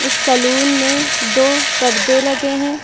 Salon में दो परदे लगे हैं।